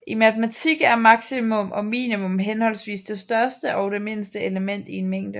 I matematik er maksimum og minimum henholdsvis det største og det mindste element i en mængde